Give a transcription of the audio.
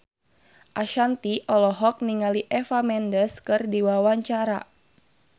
Ashanti olohok ningali Eva Mendes keur diwawancara